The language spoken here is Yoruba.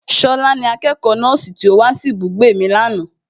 Ṣọlá ni akẹ́kọ̀ọ́ nọ́ọ̀sì tí ó wá sí ibùgbé mi ní àná